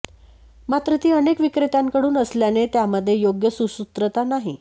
मात्र ती अनेक विक्रेत्यांकडून असल्याने त्यामध्ये योग्य सुसूत्रता नाही